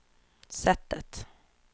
sättet